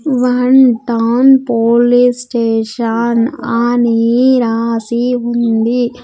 One town police station ఆనీ రాసి ఉంది.